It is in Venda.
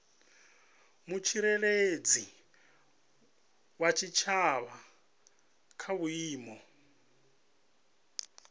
mutsireledzi wa tshitshavha kha vhuimo